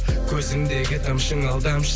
көзіңдегі тамшың алдамшы